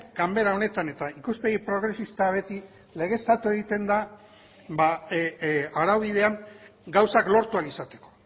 ganbera honetan eta ikuspegi progresista beti legeztatu egiten da arau bidean gauzak lortu ahal izateko